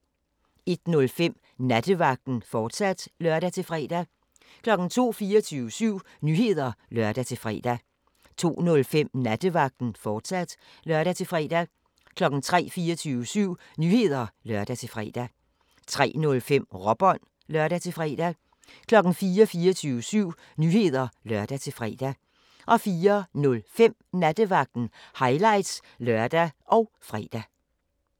01:05: Nattevagten, fortsat (lør-fre) 02:00: 24syv Nyheder (lør-fre) 02:05: Nattevagten, fortsat (lør-fre) 03:00: 24syv Nyheder (lør-fre) 03:05: Råbånd (lør-fre) 04:00: 24syv Nyheder (lør-fre) 04:05: Nattevagten – highlights (lør og fre)